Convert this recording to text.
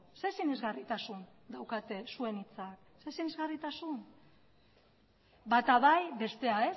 zer sinesgarritasun daukate zuen hitzak zer sinesgarritasun bata bai bestea